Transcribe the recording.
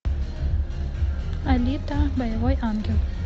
алита боевой ангел